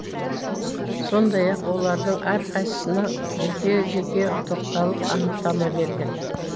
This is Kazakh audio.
сондай ақ олардың әрқайсысына жеке жеке тоқталып анықтама берген